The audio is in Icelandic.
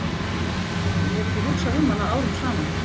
Ég hef ekki hugsað um hana árum saman.